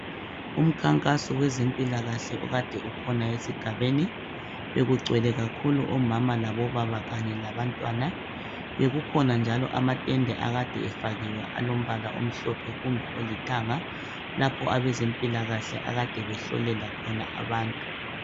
umkhankaso wezempilakahle okade ukhona esigabeni bekugcwele kakhulu omama labobaba kanye labantwana bekukhona njalo amatende akade efakiwe alombala omhlophe kumbe olithanga lapho abezempikahle akade behlolela khona abantu